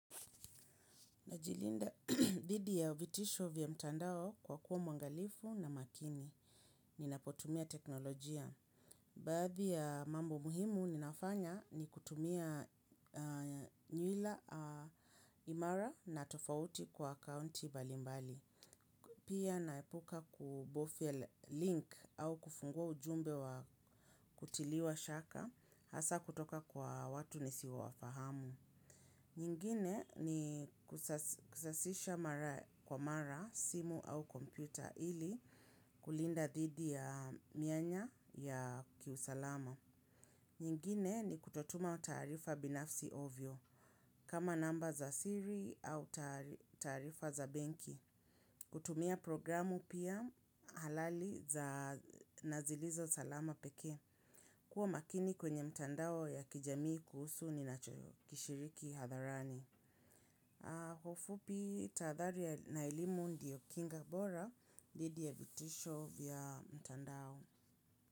Najilinda dhidi ya vitisho vya mtandao kwa kuwa mwangalifu na makini. Ninapotumia teknolojia. Baadhi ya mambo muhimu ninafanya ni kutumia nywila imara na tofauti kwa akaunti mbalimbali. Pia naepuka kubofia link au kufungua ujumbe wa kutiliwa shaka hasa kutoka kwa watu nisio wafahamu. Nyingine ni kusasisha mara kwa mara simu au kompyuta ili kulinda dhidhi ya mianya ya kiusalama. Nyingine ni kutotuma taarifa binafsi ovyo kama namba za siri au taarifa za benki. Kutumia programu pia halali za na zilizo salama peke. Kuwa makini kwenye mtandao ya kijamii kuhusu ninacho kishiriki hadharani. Kwa ufupi tahadhari na elimu ndiyo Kinga Bora dhidhi ya vitisho vya mtandao.